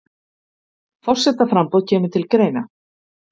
Forsetaframboð kemur til greina